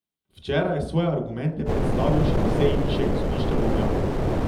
Včeraj je svoje argumente predstavil še na seji višjega sodišča v Ljubljani.